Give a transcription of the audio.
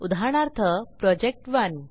उदाहरणार्थ प्रोजेक्ट1